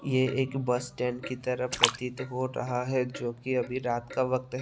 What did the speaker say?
ये एक bus stand की तरह प्रतीत हो रहा है जो कि अभी रात का वक़्त है।